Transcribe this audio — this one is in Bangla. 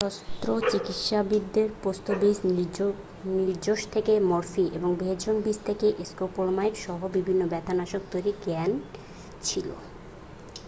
শস্ত্রচিকিৎসকদের পোস্ত বীজ নির্যাস থেকে মরফিন এবং ভেষজ বীজ থেকে স্কোপোলামাইন সহ বিভিন্ন ব্যথা নাশক তৈরির জ্ঞান ছিল